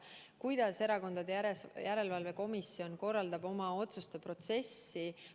Kuidas see komisjon korraldab oma otsuste tegemise protsessi?